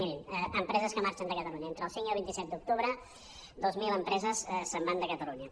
mirin empreses que marxen de catalunya entre el cinc i el vint set d’octubre dues mil empreses se’n van de catalunya